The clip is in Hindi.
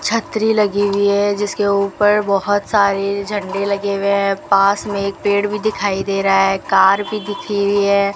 छतरी लगी हुई है जिसके ऊपर बहोत सारे झंडे लगे हुए हैं पास में एक पेड़ भी दिखाई दे रहा है कार भी दिख रही हुई है।